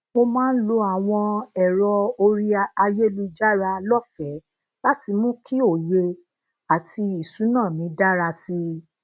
mo máa ń lo àwọn ero orí ayelujara lófèé láti mú kí òye ati isuna mi dara sí i